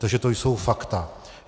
Takže to jsou fakta.